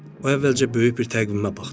O əvvəlcə böyük bir təqvimə baxdı.